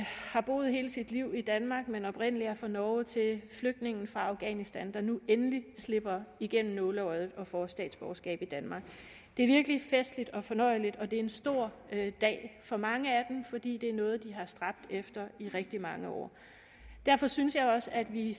har boet hele sit liv i danmark men oprindelig er fra norge til flygtningen fra afghanistan der nu endelig slipper igennem nåleøjet og får statsborgerskab i danmark det er virkelig festligt og fornøjeligt og det er en stor dag for mange af dem fordi det er noget de har stræbt efter i rigtig mange år derfor synes jeg også at vi